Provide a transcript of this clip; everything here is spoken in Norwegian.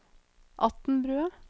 Atnbrua